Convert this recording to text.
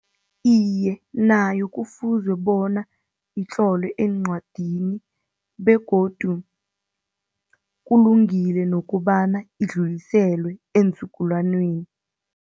Iye, nayo kufuzwe bona itlolwe eencwadini begodu kulungile nokobana idluliselwe eenzukulwaneni.